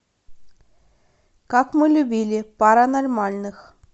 как мы любили пара нормальных